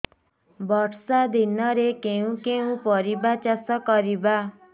ବର୍ଷା ଦିନରେ କେଉଁ କେଉଁ ପରିବା ଚାଷ କରିବା